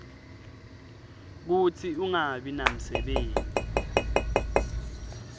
kutsi ungabi namsebenti